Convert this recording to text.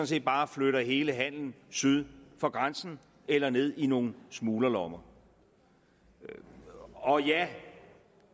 set bare flytter hele handelen syd for grænsen eller ned i nogle smuglerlommer og ja